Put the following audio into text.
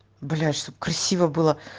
блять чтобы красиво было